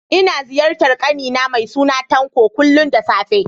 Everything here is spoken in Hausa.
Ina ziyartar ƙani na mai suna Tanko, kullum da safe